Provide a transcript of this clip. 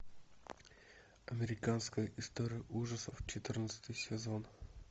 американская история ужасов четырнадцатый сезон